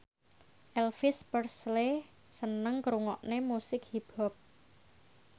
Elvis Presley seneng ngrungokne musik hip hop